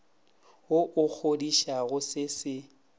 wo o kgodišang se se